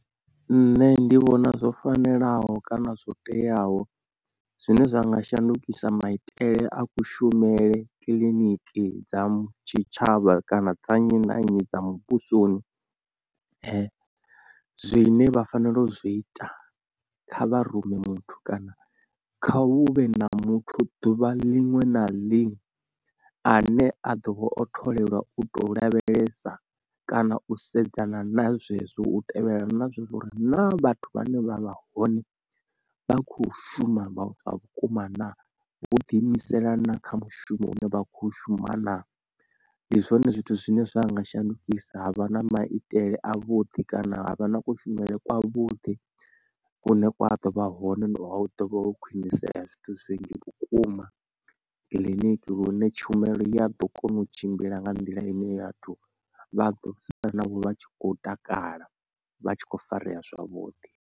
Nṋe ndi vhona zwo fanelaho kana zwo teaho zwine zwa nga shandukisa maitele a kushumele kiḽiniki dza tshitshavha kana dza nnyi na nnyi dza muvhusoni zwine vha fanela u zwi ita kha vha rume muthu kana kha huvhe na muthu ḓuvha ḽinwe na ḽinwe a ne a ḓo vha o tholelwa u to lavhelesa kana u sedzana na zwezwo u tevhelela na zwezwo uri naa vhathu vhane vha vha hone vha khou shuma zwa vhukuma na. Vho ḓi imisela na kha mushumo une vha kho shuma na ndi zwone zwithu zwine zwa nga shandukisa havha na maitele a vhuḓi kana havha na kushumele kwa vhuḓi kune kwa ḓo vha hone hu ḓovha ho khwinisea zwithu zwinzhi vhukuma kiḽiniki lune tshumelo ya ḓo kona u tshimbila nga nḓila ine ya vhathu vha ḓo sala navho vha tshi khou takala vha tshi kho farea zwavhuḓi.